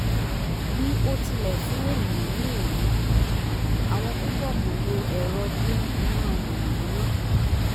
bí ó tilẹ̀ fún ènìyàn ní ìwúrí àwọn púpọ̀ kọ̀ lo ẹ̀rọ dín iná mànàmáná